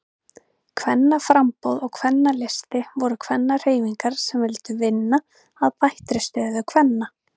Kvennaframboð og Kvennalisti voru kvennahreyfingar sem vildu vinna að bættri stöðu kvenna.